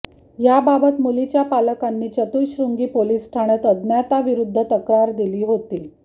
याबाबत मुलीच्या पालकांनी चतुःश्रृंगी पोलीस ठाण्यात अज्ञाताविरुद्ध तक्रार दिली होती